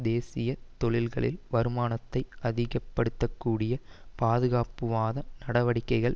தேசிய தொழில்களின் வருமானத்தை அதிகப்படுத்தக்கூடிய பாதுகாப்புவாத நடவடிக்கைகள்